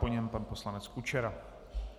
Po něm pan poslanec Kučera.